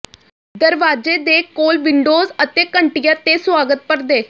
ਦਰਵਾਜ਼ੇ ਦੇ ਕੋਲ ਵਿੰਡੋਜ਼ ਅਤੇ ਘੰਟੀਆਂ ਤੇ ਸੁਆਗਤ ਪਰਦੇ